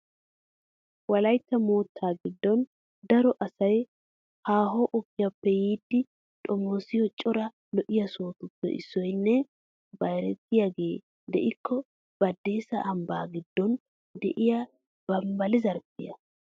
Wolaytta moottaa giddon daro asay haaho ogiyappe yiidi xomoosiyo cora lo'iya sohotuppe issoynne bayratiyagee de'ikko Baddeessa ambbaa giddon de'iya Bambballi zarphphiya.